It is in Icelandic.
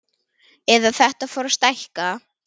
Eða þetta fór að stækka.